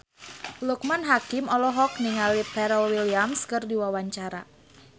Loekman Hakim olohok ningali Pharrell Williams keur diwawancara